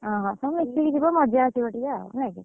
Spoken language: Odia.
ହଁ ହଁ, ସବୁମିଶିକି ଯିବମଜା ଆସିବ ଟିକେ ନାଇକି?